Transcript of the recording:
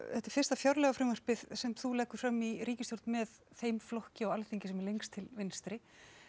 þetta er fyrsta fjárlagafrumvarpið sem þú leggur fram í ríkisstjórn með þeim flokki á Alþingi sem er lengst til vinstri